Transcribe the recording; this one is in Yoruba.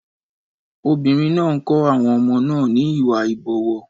Obìnrin náà ń kọ́ àwọn ọmọ náà ní Ìwà ìbọ̀wọ̀.